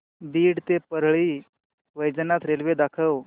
बीड ते परळी वैजनाथ रेल्वे दाखव